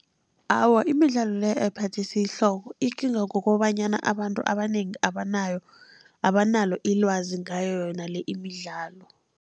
Awa, imidlalo le ayiphathisi ihloko ikinga kukobanyana abantu abanengi abanayo, abanalo ilwazi ngayo yona le imidlalo.